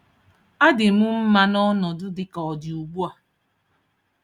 Adị m mma na ọnọdụ dị ka ọ dị ugbu a.